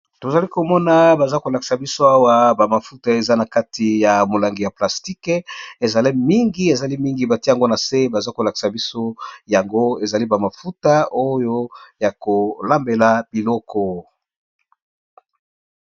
Tozali komona baza ko lakisa biso awa ba mafuta eza na kati ya molangi ya plastique. Ezali mingi, ezali mingi batie yango na se baza ko lakisa biso yango ezali ba mafuta oyo ya ko lambela biloko.